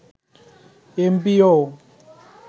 MPO